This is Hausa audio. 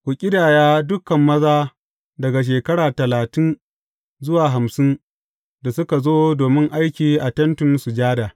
Ku ƙidaya dukan maza daga shekara talatin zuwa hamsin da suka zo domin aiki a Tentin Sujada.